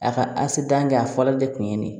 A ka asetan kɛ a fɔlɔ de kun ye nin ye